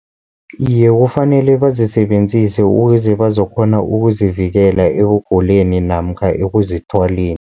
Iye, kufanele bazisebenzise ukuze bazokukghona ukuzivikela ekuguleni namkha ekuzithwaleni.